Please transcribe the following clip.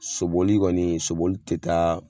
Soboli kɔni, soboli tɛ taa